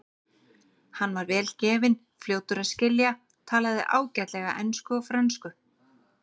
Hann var vel gefinn og fljótur að skilja, talaði ágætlega ensku og frönsku.